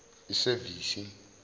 isevisi